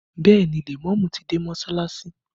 Bẹẹ ni, lèmọ́mù ti dé sí Mọsalasi